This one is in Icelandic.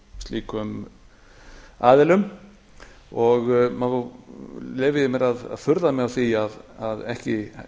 slíku aðilum og leyfi ég mér að furða mig á því að ekki